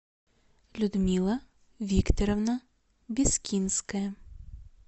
людмила викторовна бескинская